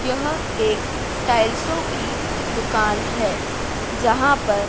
यह एक टाइल्सो की दुकान है जहां पर--